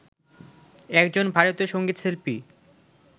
একজন ভারতীয় সংগীতশিল্পী